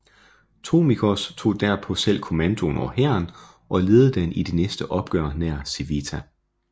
Tornikios tog derpå selv kommandoen over hæren og ledede den i det næste opgør nær Civita